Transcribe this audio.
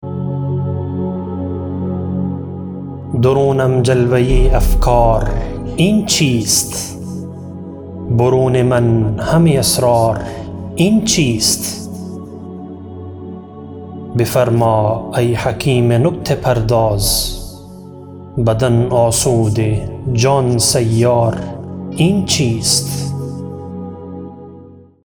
درونم جلوه افکار این چیست برون من همه اسرار این چیست بفرما ای حکیم نکته پرداز بدن آسوده جان سیار این چیست